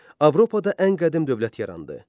Avropada ən qədim dövlət yarandı.